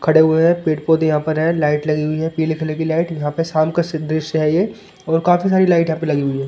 खड़े हुए हैं पेड़-पौधे यहां पर है लाइट लगी हुई है पीली कलर की लाइट यहां पे शाम का दृश्य है ये और काफी सारी लाइट यहां पे लगी हुई है ।